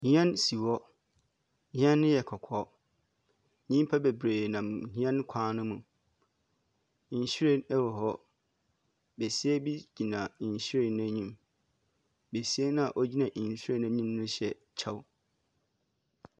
Hɛn si hɔ. Hɛn no yɛ kɔkɔɔ. Nyimpa babree nam hɛn kwan no mu. Nwiren wɔ hɔ. Besia bi gyina nhwire no enyim. Besia no a ɔgyina nhwiren no anim no hyɛ kyɛw.